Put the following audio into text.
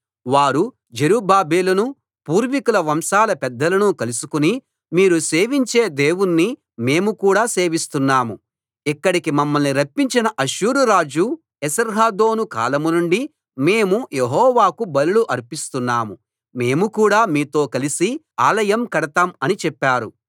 వారు జెరుబ్బాబెలును పూర్వికుల వంశాల పెద్దలను కలుసుకుని మీరు సేవించే దేవుణ్ణి మేము కూడా సేవిస్తున్నాం ఇక్కడికి మమ్మల్ని రప్పించిన అష్షూరు రాజు ఏసర్హద్దోను కాలం నుండి మేము యెహోవాకు బలులు అర్పిస్తున్నాము మేము కూడా మీతో కలిసి ఆలయం కడతాం అని చెప్పారు